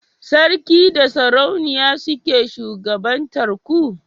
sarki da sarauniya suke shugabantar ku?